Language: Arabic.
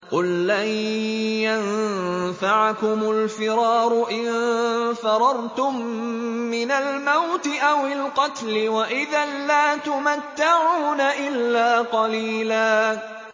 قُل لَّن يَنفَعَكُمُ الْفِرَارُ إِن فَرَرْتُم مِّنَ الْمَوْتِ أَوِ الْقَتْلِ وَإِذًا لَّا تُمَتَّعُونَ إِلَّا قَلِيلًا